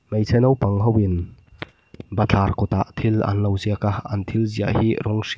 hmeichhe naupang hoin bathlar kawtah thil an lo ziak a an thil ziah hi rawng hr --